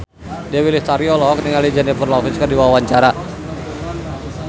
Dewi Lestari olohok ningali Jennifer Lopez keur diwawancara